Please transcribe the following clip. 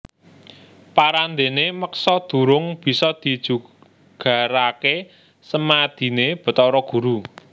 Parandéné meksa durung bisa dijugaraké semadiné Bathara Guru